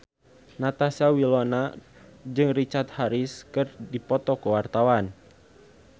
Natasha Wilona jeung Richard Harris keur dipoto ku wartawan